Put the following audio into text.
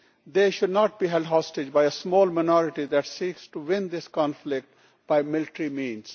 They should not be held hostage by a small minority that seeks to win this conflict by military means.